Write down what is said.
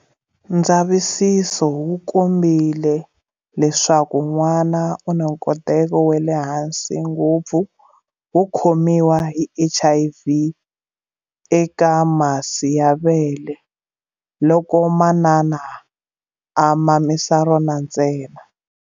Ndzavisiso wu kombile leswaku n'wana u na nkoteko wa le hansi ngopfu wo khomiwa hi HIV eka masi ya vele loko manana a mamisa rona ntsena.